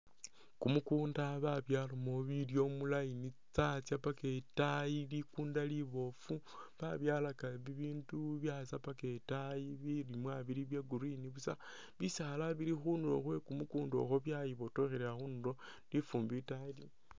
Kumukunda babyalamo bilyo mu line, tsyatsya paka itaayi ,likunda liboofu, babyalaka bibindu byatsa paka etaayi ,bilimwa bili bya green busa ,bisaala bili khundulo khwe kumukunda okwo byayibotokhelela khundulo ,lifumbi itaayi liliyo